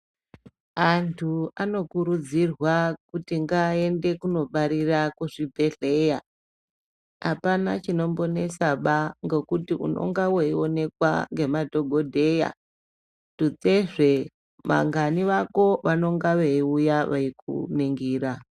Antu anokurudzirwa kuti ngaende kunobarira kuzvibhehlera. Apana chinombonesaba ngekuti unenge weionekwa ngemadhokoteya. Tutsezve vangani vako vanonga veiuya veikuningira.